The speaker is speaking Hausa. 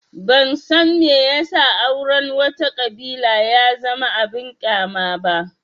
Ban san me ya sa auren wata ƙabila ya zama abin ƙyama ba